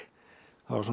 það var svona